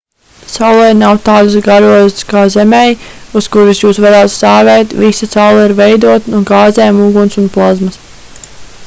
saulei nav tādas garozas kā zemei uz kuras jūs varētu stāvēt visa saule ir veidota no gāzēm uguns un plazmas